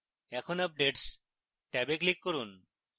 এখন updates ট্যাবে click করুন